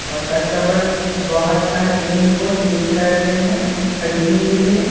और कस्टमर्स बहुत सारे पेन को चेक कर रहे हैं खरीदने के लिए।